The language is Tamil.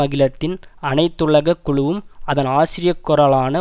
அகிலத்தின் அனைத்துலக குழுவும் அதன் ஆசிரியக் குரலான